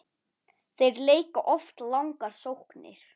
Þeir leika oft langar sóknir.